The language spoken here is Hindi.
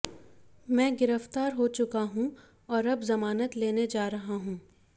मैं गिरफ्तार हो चुका हूं और अब जमानत लेने जा रहा हूं